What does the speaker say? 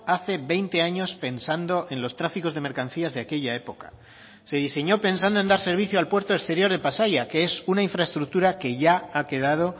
hace veinte años pensando en los tráficos de mercancías de aquella época se diseñó pensando en dar servicio al puerto exterior de pasaia que es una infraestructura que ya ha quedado